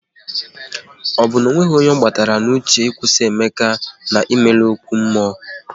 Ọ bụ na onweghi onye ọ gbara n'uche ịkwụsị Emeka na imelu ókwú mmụọ?